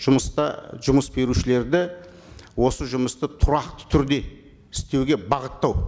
жұмыста жұмыс берушілерді осы жұмысты тұрақты түрде істеуге бағыттау